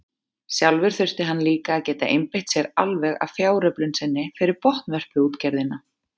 Sjálfur þurfti hann líka að geta einbeitt sér alveg að fjáröflun sinni fyrir botnvörpuútgerðina.